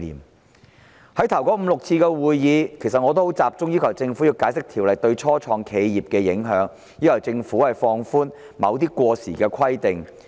在法案委員會首5至6次會議上，我集中要求政府解釋《條例草案》對初創企業的影響，並要求政府放寬某些過時的規定。